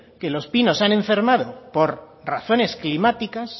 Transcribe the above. que los pinos se han enfermado por razones climáticas